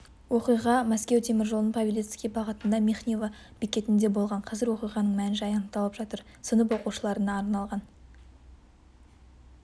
оқиға мәскеу теміржолының павелецкий бағытындағы михнево бекетінде болған қазір оқиғаның мән-жайы анықталып жатыр сынып оқушыларына арналған